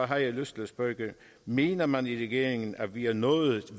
har jeg lyst til at spørge mener man i regeringen at vi er nået